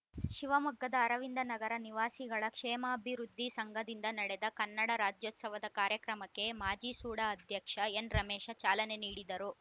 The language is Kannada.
ಶಿವಮೊಗ್ಗದ ಅರವಿಂದನಗರ ನಿವಾಸಿಗಳ ಕ್ಷೇಮಾಭಿವೃದ್ಧಿ ಸಂಘದಿಂದ ನಡೆದ ಕನ್ನಡ ರಾಜ್ಯೋತ್ಸವದ ಕಾರ್ಯಕ್ರಮಕ್ಕೆ ಮಾಜಿ ಸೂಡ ಅಧ್ಯಕ್ಷ ಎನ್‌ರಮೇಶ ಚಾಲನೆ ನೀಡಿದರು